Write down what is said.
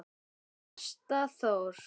Besta Dór.